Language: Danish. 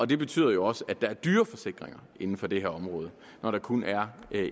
det betyder jo også at der er dyre forsikringer inden for det her område når der kun er